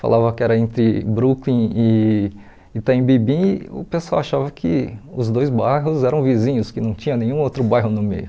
Falava que era entre Brooklyn e Itaim Bibi e o pessoal achava que os dois bairros eram vizinhos, que não tinha nenhum outro bairro no meio.